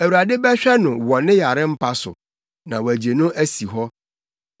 Awurade bɛhwɛ no wɔ ne yare mpa so na wagye no asi hɔ.